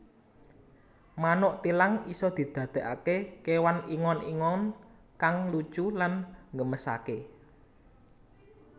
Manuk thilang isa didakake kewan ingon ingon kang lucu lan nggemesake